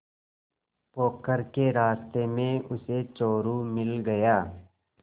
पोखर के रास्ते में उसे चोरु मिल गया